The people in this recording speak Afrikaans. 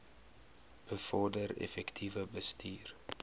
bevorder effektiewe bestuur